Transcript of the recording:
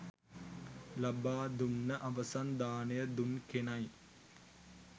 ලබා දුන්න අවසන් දානය දුන් කෙනයි.